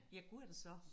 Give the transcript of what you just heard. Ja gu er det så